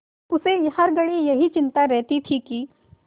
उसे हर घड़ी यही चिंता रहती थी कि